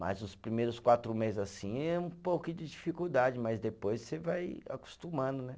Mas os primeiros quatro meses assim é um pouquinho de dificuldade, mas depois você vai acostumando, né?